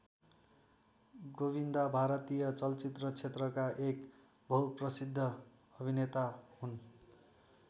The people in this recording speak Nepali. गोविन्दा भारतीय चलचित्र क्षेत्रका एक बहुप्रसिद्ध अभिनेता हुन्।